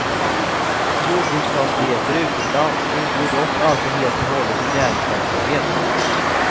Jordbruksfastigheter utomlands ingår dock alltid helt och hållet i näringsverksamhet.